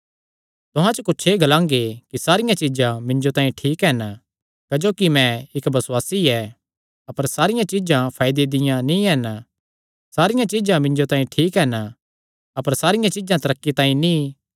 तुहां च कुच्छ एह़ ग्लांगे कि सारियां चीज्जां मिन्जो तांई ठीक हन क्जोकि मैं इक्क बसुआसी ऐ अपर सारियां चीज्जां फायदे दियां नीं हन सारियां चीज्जां मिन्जो तांई ठीक हन अपर सारियां चीज्जां तरक्की तांई नीं